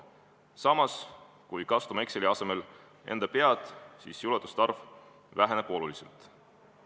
Samas, kui kasutame Exceli asemel enda pead, siis üllatuste arv väheneb oluliselt.